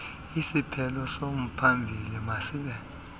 isiphelo somphambili masibe